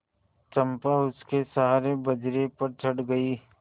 चंपा उसके सहारे बजरे पर चढ़ गई